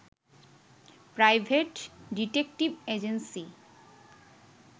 private detective agency